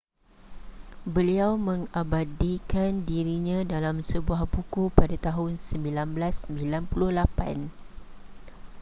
beliau mengabadikan dirinya dalam sebuah buku pada tahun 1998